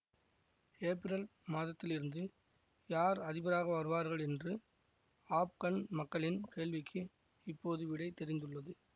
ஏப்பிரல் மாதத்தில் இருந்து யார் அதிபராக வருவார்கள் என்று ஆப்கன் மக்களின் கேள்விக்கு இப்போது விடை தெரிந்துள்ளது